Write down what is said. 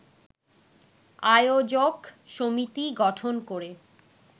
আয়োজক সমিতি গঠন করে